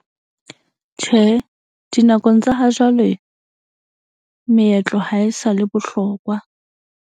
Tjhe, dinakong tsa ha jwale, meetlo ha e sa le bohlokwa.